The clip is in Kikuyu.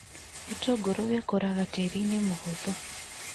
Gĩtũngũrũ gĩkũraga tĩĩri-inĩ mũhũthũ.